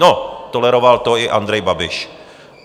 No, toleroval to i Andrej Babiš.